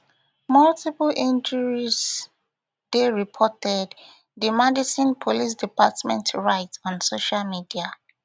multiple injuries dey reported di madison police department write on social media